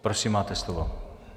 Prosím, máte slovo.